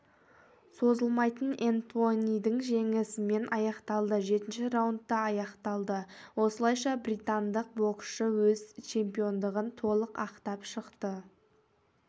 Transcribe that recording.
созылмай энтонидің жеңісімен аяқталды жетінші раундта аяқталды осылайша британдық боксшы өз чемпиондығын толық ақтап шықты